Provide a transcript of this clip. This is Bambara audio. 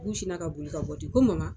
sinna ka boli ka bɔ ten ko